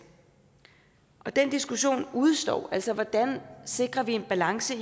og den diskussion udestår altså hvordan vi sikrer en balance